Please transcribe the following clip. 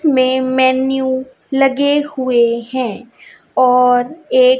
main menu लगे हुए हैं और एक--